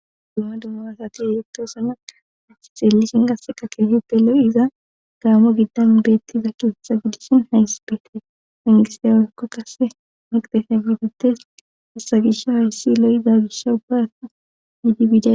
dumma dummarasati yotosana hassi xeellishin gasse qakeyuppelo7 iza gaamo giddan beettiza kieththa gidishin hays beete mingisawaykko qase miqdesa gidutes hasa gisha hayssi lo7da gisha ubbasa yiidibiida